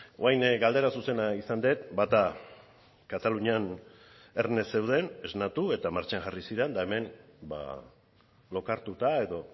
orain galdera zuzena izan dut bata katalunian erne zeuden esnatu eta martxan jarri ziren eta hemen lokartuta edo